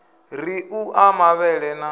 ri u ḓa mavhele na